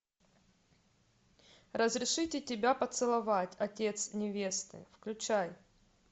разрешите тебя поцеловать отец невесты включай